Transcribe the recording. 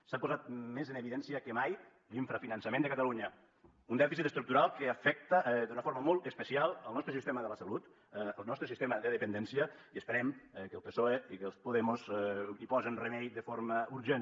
s’ha posat més en evidència que mai l’infrafinançament de catalunya un dèficit estructural que afecta d’una forma molt especial el nostre sistema de la salut el nostre sistema de dependència i esperem que el psoe i que els podemos hi posen remei de forma urgent